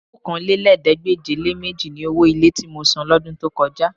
Okòólélẹ́ẹ̀ẹ́dégbèje-le-méjì ni owó ilé tí mo san lọ́dún tó kọjá